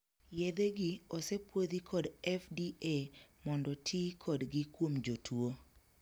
Yedhegi osepuodhi kod 'FDA' mondo tii kodgi kuom jotuo.